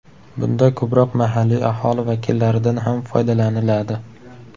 Bunda ko‘proq mahalliy aholi vakillaridan ham foydalaniladi.